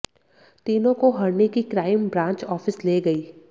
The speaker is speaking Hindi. तीनों को हरणी की क्राइम ब्रांच ऑफिस ले गई